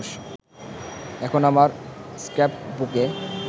এখন আমার ‘স্ক্র্যাপ-বুকে’